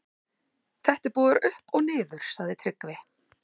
Þetta er búið að vera upp og niður, sagði Tryggvi.